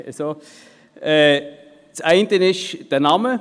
Das eine ist der Name: